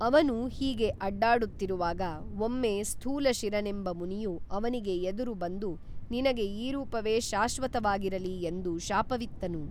ಅವನು ಹೀಗೆ ಅಡ್ಡಾಡುತ್ತಿರುವಾಗ ಒಮ್ಮೆ ಸ್ಥೂಲಶಿರನೆಂಬ ಮುನಿಯು ಅವನಿಗೆ ಎದುರು ಬಂದು ನಿನಗೆ ಈ ರೂಪವೇ ಶಾಶ್ವತವಾಗಿರಲಿ ಎಂದು ಶಾಪವಿತ್ತನು